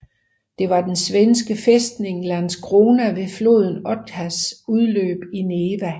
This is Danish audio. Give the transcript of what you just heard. Det var den svenske fæstningen Landskrona ved floden Okhtas udløb i Neva